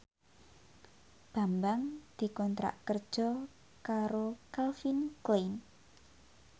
Bambang dikontrak kerja karo Calvin Klein